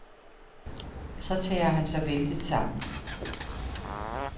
Så tager han sig vældigt sammen.